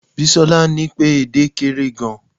bisola ni pe ede é kere gan